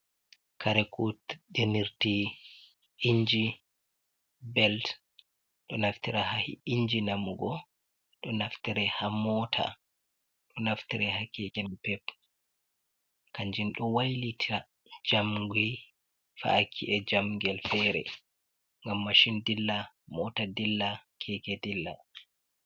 Kare kudenirti inji beld ɗo naftira ha inji namugo, ɗo naftira ha mota, ɗo naftira ha keke napep, kanjen ɗo wailita jamgi fa’aki e jamgel fere ngam machin dilla, mota dilla, keke dilla.